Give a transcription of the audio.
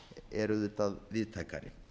er auðvitað víðtækari